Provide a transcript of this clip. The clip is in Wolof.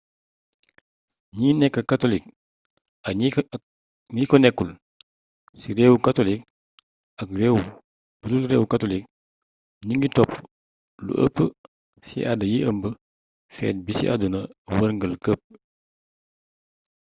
gni nek katolik ak gni ko nekul ci reewu katolik ak reew budul reewu katolik gningui topp lu eepp ci aada yi ëmb feet bi ci àdduna werngeul kep